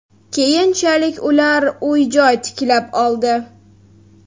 Keyinchalik ular uy-joy tiklab oldi.